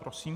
Prosím.